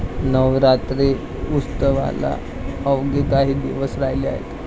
नवरात्री उत्सवाला अवघे काही दिवस राहिले आहेत.